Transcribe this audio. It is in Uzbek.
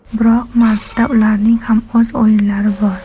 Biroq martda ularning ham o‘z o‘yinlari bor.